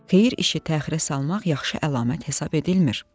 Xeyir işi təxirə salmaq yaxşı əlamət hesab edilmir.